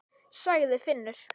sagði Finnur.